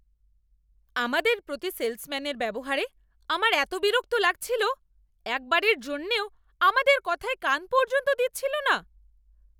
আমাদের প্রতি সেলসম্যানের ব্যবহারে আমার এত বিরক্ত লাগছিল! একবারের জন্যও আমাদের কথায় কান পর্যন্ত দিচ্ছিল না!